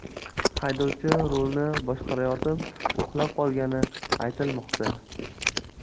Haydovchi rulni boshqarayotib uxlab qolgani aytilmoqda.